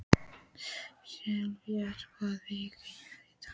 Sessilía, hvaða vikudagur er í dag?